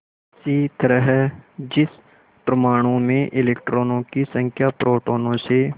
इसी तरह जिस परमाणु में इलेक्ट्रॉनों की संख्या प्रोटोनों से